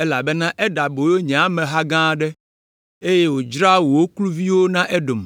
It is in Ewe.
elabena eɖe aboyo nye ameha gã aɖe, eye wòdzra wo kluviwoe na Edom.